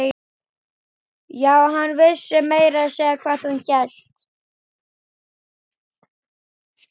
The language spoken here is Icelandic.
Já, hann vissi meira að segja hvað hún hét.